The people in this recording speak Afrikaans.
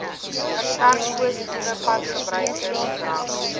versterk positiewe padgebruikersgedrag